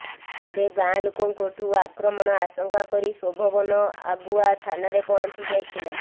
ତେବେ ଗାଁ ଲୋକଙ୍କଠୁ ଆକ୍ରମଣ ଆଶଙ୍କା କରି ଶୋଭବନ ଆଗୁଆ ଥାନାରେ ପହଞ୍ଚି ଯାଇଥିଲା